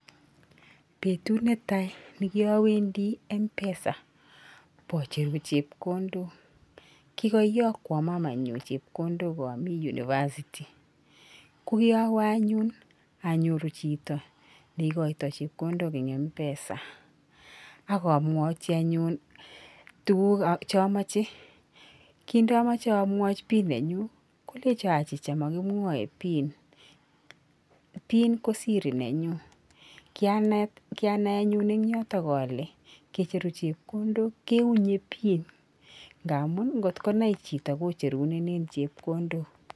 Betut netai nekiowendi Mpesa bo cheru chepkondok kikoyokwon mamanyun chepkondok omi university kokiowe anyun onyoru chito neikoito chepkondok en Mpesa ak omwochi anyun tugukab cheomoche kin omoche omwochi pin nenyun kolenjon achicha mokimwoe pin. Pin ko siri nenyun kianet kianai anyun en yoton ole ngicheru chepkondok keunye pin ngamun kecherurenen chepkondok.